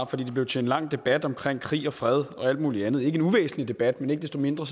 for det blev til en lang debat om krig krig og fred og alt muligt andet en uvæsentlig debat men ikke desto mindre